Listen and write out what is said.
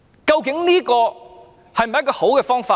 究竟這是否一種好方法？